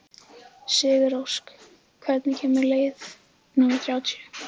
Sigurósk, hvenær kemur leið númer þrjátíu?